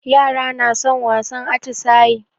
Yara na son wasan atisayi.